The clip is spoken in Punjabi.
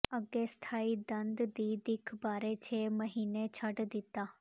ਅੱਗੇ ਸਥਾਈ ਦੰਦ ਦੀ ਦਿੱਖ ਬਾਰੇ ਛੇ ਮਹੀਨੇ ਛੱਡ ਦਿੱਤਾ